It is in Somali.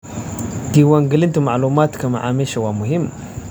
Diiwaangelinta macluumaadka macaamiisha waa muhiim.